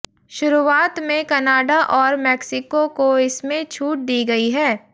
शुरुआत में कनाडा और मेक्सिको को इसमें छूट दी गई है